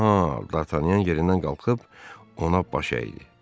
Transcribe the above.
Aha, Dartanyan yerindən qalxıb ona baş əyidi.